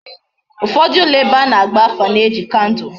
Ufodu ulo ebe ana agba afa na eji kandul